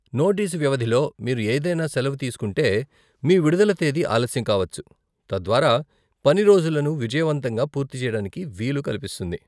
Notice వ్యవధిలో మీరు ఏదైనా సెలవు తీసుకుంటే, మీ విడుదల తేదీ ఆలస్యం కావచ్చు, తద్వారా పని రోజులను విజయవంతంగా పూర్తి చేయడానికి వీలు కల్పిస్తుంది.